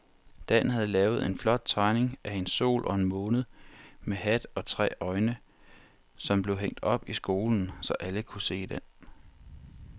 Dan havde lavet en flot tegning af en sol og en måne med hat og tre øjne, som blev hængt op i skolen, så alle kunne se den.